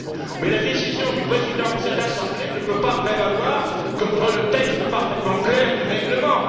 Mais la décision du Président de cette assemblée ne peut pas prévaloir contre le texte parfaitement clair du règlement.